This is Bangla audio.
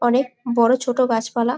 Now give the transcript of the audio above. অনেক বড়ো ছোট গাছ পালা।